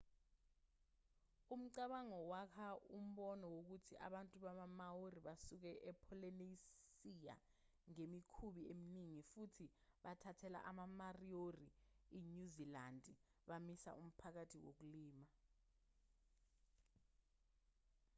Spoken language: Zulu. umcabango wakha umbono wokuthi abantu bama-maori basuke epholinesiya ngemikhumbi eminingi futhi bathathela ama-mariori inyuzilandi bamisa umphakathi wokulima